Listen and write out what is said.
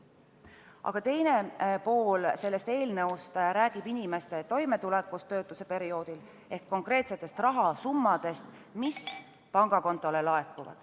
Aga teine pool sellest eelnõust räägib inimeste toimetulekust töötuse perioodil ehk konkreetsest rahasummast, mis pangakontole laekub.